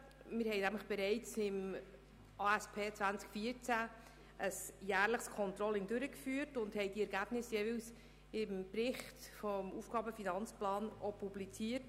Wir haben bereits im Rahmen der ASP 2014 ein jährliches Controlling durchgeführt und die Ergebnisse jeweils im Bericht zum AFP publiziert.